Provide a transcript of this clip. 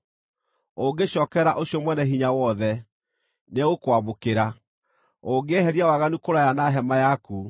Ũngĩcookerera ũcio Mwene-Hinya-Wothe, nĩegũkwamũkĩra; ũngĩeheria waganu kũraya na hema yaku,